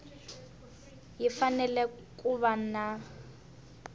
yi fanele ku va na